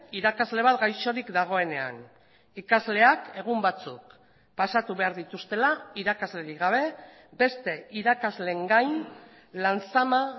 irakasle bat gaixorik dagoenean ikasleak egun batzuk pasatu behar dituztela irakaslerik gabe beste irakasleen gain lan zama